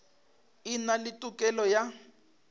e na le tokelo ya